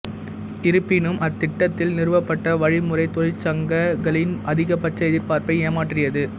இருப்பினும் அத்திட்டத்தில் நிறுவப்பட்ட வழிமுறை தொழிற்சங்கங்களின் அதிகபட்ச எதிர்பார்ப்பை ஏமாற்றியது